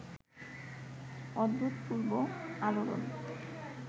অভূতপূর্ব আলোড়ন